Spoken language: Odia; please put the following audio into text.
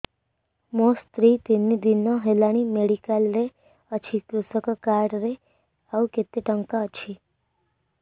ମୋ ସ୍ତ୍ରୀ ତିନି ଦିନ ହେଲାଣି ମେଡିକାଲ ରେ ଅଛି କୃଷକ କାର୍ଡ ରେ ଆଉ କେତେ ଟଙ୍କା ଅଛି